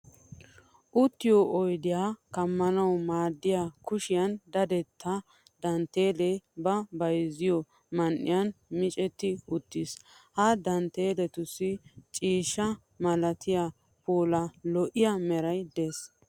Uttiyo oydiya kammanawu maaddiya kushiyan dadetta dantteelee ba bayzettiyo man"iyan micetti uttiis. Ha dantteeletussi ciishsha malatiya pala lo'iya meray de'ees.